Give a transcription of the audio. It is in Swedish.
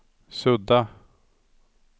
sudda